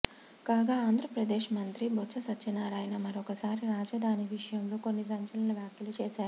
కాగా ఆంధ్రప్రదేశ్ మంత్రి బొత్స సత్యనారాయణ మరొకసారి రాజధాని విషయంలో కొన్ని సంచలన వాఖ్యలు చేశారు